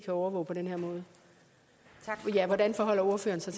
overvåge på den her måde hvordan forholder ordføreren sig